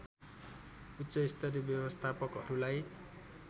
उच्चस्तरीय व्यवस्थापकहरूलाई